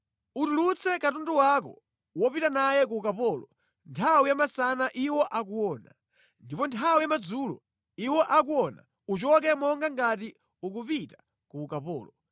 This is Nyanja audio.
Utulutse katundu wako wopita naye ku ukapolo nthawi ya masana iwo akuona. Ndipo nthawi ya madzulo, iwo akuona, uchoke monga ngati ukupita ku ukapolo.